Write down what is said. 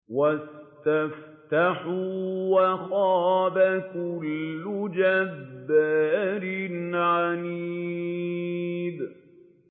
وَاسْتَفْتَحُوا وَخَابَ كُلُّ جَبَّارٍ عَنِيدٍ